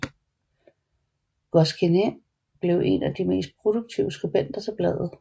Goscinny blev en af de mest produktive skribenter til bladet